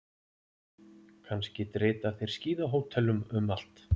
Kannski drita þeir skíðahótelum um allt.